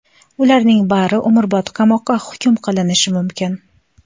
Ularning bari umrbod qamoqqa hukm qilinishi mumkin.